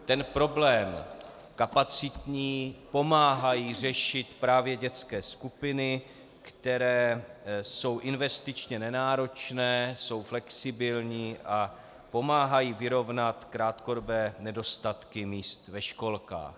Ten problém kapacitní pomáhají řešit právě dětské skupiny, které jsou investičně nenáročné, jsou flexibilní a pomáhají vyrovnat krátkodobé nedostatky míst ve školkách.